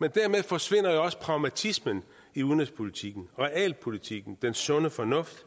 men dermed forsvinder jo også pragmatismen i udenrigspolitikken realpolitikken den sunde fornuft